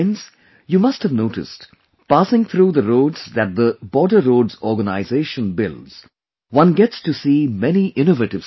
you must have noticed, passing through the roads that the Border Road Organization builds, one gets to see many innovative slogans